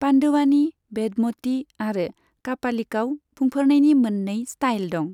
पान्डवानी, बेदमती आरो कापालिकआव बुंफोरनायनि मोननै स्टाइल दं।